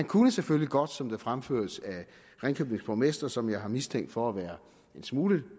kunne selvfølgelig godt som det fremføres af ringkøbings borgmester som jeg har mistænkt for at være en smule